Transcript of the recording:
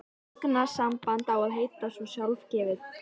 Augnsamband á að heita svo sjálfgefið.